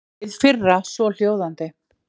Hið fyrra svohljóðandi